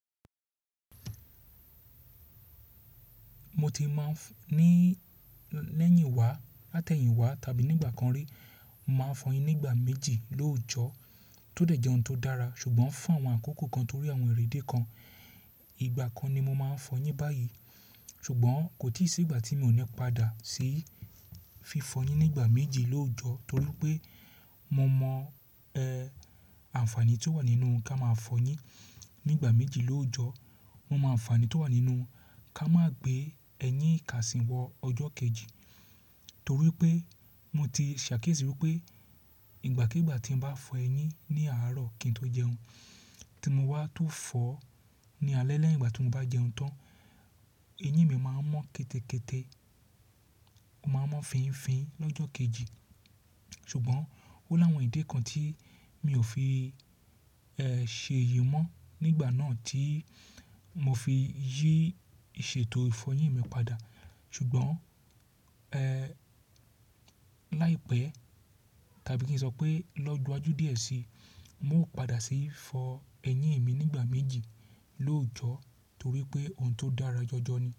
Mo ti máa ń ní lẹ́yìn wá, látẹ̀yìn wá tàbí nígbà kan rí, màá fọyín nígbà méjì lóòjọ́ tó dẹ̀ jẹ́ ohun tó dára. Ṣùgbọ́n fún àwọn àkókò kan torí àwọn ìréde kan, ìgbà kan ni mo máa ń fọyín báyìí. Ṣùgbọ́n kò tí ì sí ìgbà tí mi ò ní padà sí fi fọyín nígbà méjì lóòjọ́ torí pé mo mọ àǹfààní tí ó wà nínú ká máa fọyín nígbà méjì lóòjọ́. Mo mọ àǹfààní tí ó wà nínú ká má gbé ẹyín ìkàsì wọ ọjọ́ kejì. Torí pé mo ti ṣàkiyésí wípé ìgbàkígbà tí mo bá fọ ẹyín ní àárọ̀ kí n tó jẹun tí mo wá tó fọ ní alẹ́ lẹ́yìn ìgbà tí mo bá jẹun tán, eyín mi máa ń mọ́ kẹ́tẹ́kẹ́tẹ́, ó máa ń mọ́ fínfín lọ́jọ́ kejì. Ṣùgbọ́n ó láwọn ìdí kan tí mi ò fi ṣèyì mọ́ nígbà náà tí mo fi yí ìṣètò ìfọyín mi padà. Ṣùgbọ́n láìpẹ́ tàbí kí n sọ pé lọ́jọ́ iwájú díẹ̀ síi, mo ó padà sí í fọ ẹyín mi nígbà méjì lóòjọ́ torí pé ohun tó dára jọjọ ni.